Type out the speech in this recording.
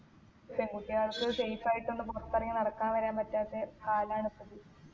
പെൺകുട്ടികൾക്ക് safe ആയിട്ട് ഒന്ന് പുറത്തിറങ്ങി നടക്കാൻ വരെ പറ്റാത്ത കാലാണ് ഇപ്പൊ ഇത്